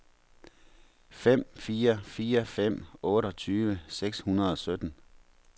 fem fire fire fem otteogtyve seks hundrede og sytten